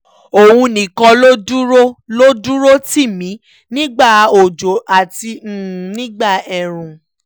òun nìkan ló dúró ló dúró tì mí nígbà òjò àti nígbà ẹ̀ẹ̀rùn